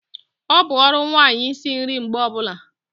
Ọ bụ ọrụ nwanyị isi nri mgbe ọbula